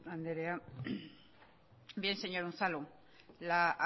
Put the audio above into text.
andrea bien señor unzalu la